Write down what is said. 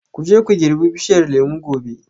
Ku je ku girbi bishiyar lemu gobe